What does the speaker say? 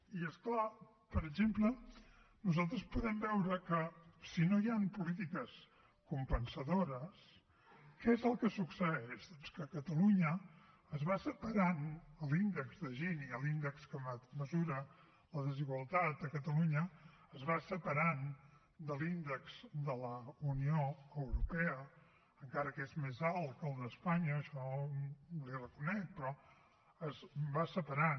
i és clar per exemple nosaltres podem veure que si no hi han polítiques compensadores què és el que succeeix doncs que a catalunya es va separant l’índex de gini l’índex que mesura la desigualtat a catalunya es va separant de l’índex de la unió europea encara que és més alt que el d’espanya això li ho reconec però es va separant